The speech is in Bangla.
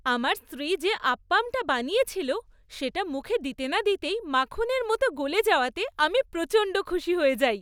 আমার স্ত্রী যে আপ্পামটা বানিয়েছিল সেটা মুখে দিতে না দিতেই মাখনের মতন গলে যাওয়াতে আমি প্রচণ্ড খুশি হয়ে যাই।